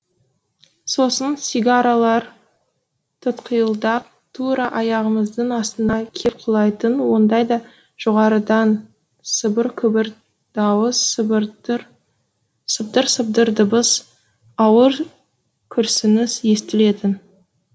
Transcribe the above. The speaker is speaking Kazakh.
сосын сигаралар тұтқиылдан тура аяғымыздың астына кеп құлайтын ондайда жоғарыдан сыбыр күбір дауыс сыбдыр сыбдыр дыбыс ауыр күрсініс естілетін